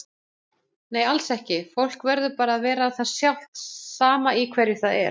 Nei alls ekki, fólk verður bara að vera það sjálft sama í hverju það er.